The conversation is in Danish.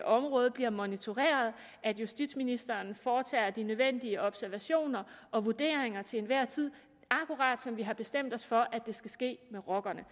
område bliver monitoreret at justitsministeren foretager de nødvendige observationer og vurderinger til enhver tid akkurat som vi har bestemt os for at det skal ske med rockerne